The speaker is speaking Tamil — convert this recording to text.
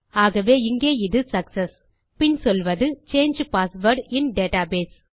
ஆகவே இங்கே இது சக்செஸ் பின் சொல்வது சாங்கே பாஸ்வேர்ட் இன் டேட்டாபேஸ்